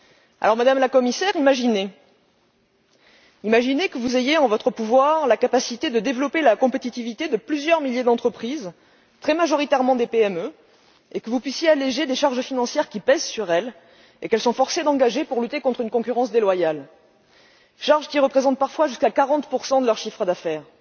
Alors, madame la Commissaire, imaginez que vous ayez en votre pouvoir la capacité de développer la compétitivité de plusieurs milliers d'entreprises, très majoritairement des PME, et que vous puissiez alléger les charges financières qui pèsent sur elles et qu'elles sont forcées d'engager pour lutter contre une concurrence déloyale charges qui représentent parfois jusqu'à 40 de leur chiffre d'affaires.